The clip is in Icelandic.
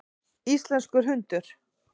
Íslenskur hundur.